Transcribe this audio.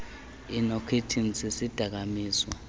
inokhithini sisidaka mizwa